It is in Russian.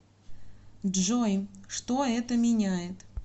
джой что это меняет